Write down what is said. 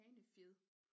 Hanefjed